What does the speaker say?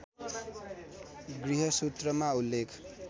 गृहसूत्रमा उल्लेख